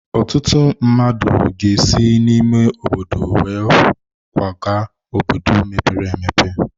Ọtụtụ mmadụ ga-esi n'ime ime obodo kwaga obodo mepere emepe.